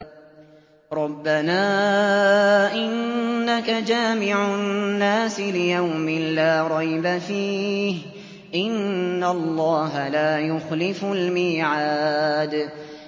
رَبَّنَا إِنَّكَ جَامِعُ النَّاسِ لِيَوْمٍ لَّا رَيْبَ فِيهِ ۚ إِنَّ اللَّهَ لَا يُخْلِفُ الْمِيعَادَ